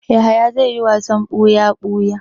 Yahaya zai yi wasan buya-buya.